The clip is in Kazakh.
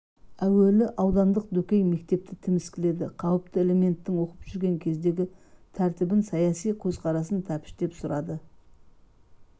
әуелі аудандық дөкей мектепті тіміскіледі қауіпті элементтің оқып жүрген кездегі тәртібін саяси көзқарасын тәптіштеп сұрады